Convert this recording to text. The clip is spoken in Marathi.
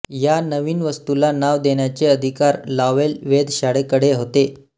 या नवीन वस्तूला नाव देण्याचे अधिकार लॉवेल वेधशाळेकडे होते